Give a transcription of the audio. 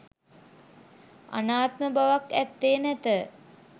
අනාත්ම බවක් ඇත්තේ නැත.